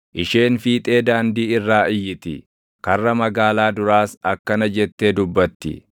Isheen fiixee daandii irraa iyyiti; karra magaalaa duraas akkana jettee dubbatti: